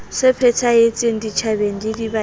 se phethahetseng setjhabeng le dibakeng